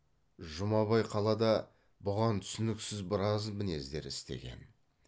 жұмабай қалада бұған түсініксіз біраз мінездер істеген